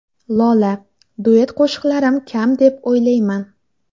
Lola: Duet qo‘shiqlarim kam deb o‘ylamayman.